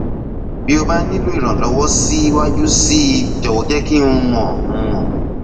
bí o bá nílò ìrànlọwọ síwájú sí i jọwọ jẹ kí n mọ n mọ